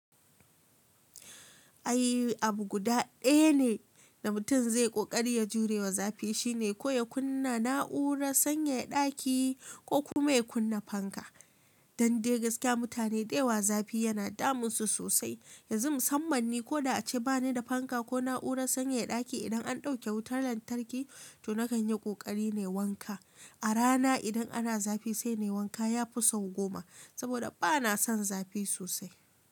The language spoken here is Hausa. Ai abu guda ɗaya ne da mutum zai ƙoƙari ya jurewa zafi shine ko ya kunna na'urar sanyaya ɗaki ko kuma ya kunna fanka. Dan dai gaskiya mutane dayawa zafi yana damun su sosai. Yanzu musamman ni koda ace bani da fanka ko na'urar sanyaya ɗaki idan an dauke wutan lantarki, to nakan yi ƙoƙari nayi wanka. A rana idan ana zafi sai nayi wanka yafi sau goma. Saboda bana son zafi sosai.